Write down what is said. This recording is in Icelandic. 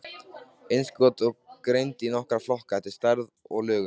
Innskotin eru greind í nokkra flokka eftir stærð og lögun.